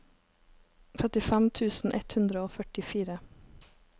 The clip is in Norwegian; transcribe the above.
trettifem tusen ett hundre og førtifire